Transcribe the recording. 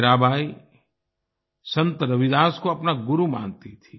मीराबाई संत रविदास को अपना गुरु मानती थी